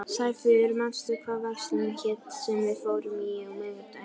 Sæfríður, manstu hvað verslunin hét sem við fórum í á miðvikudaginn?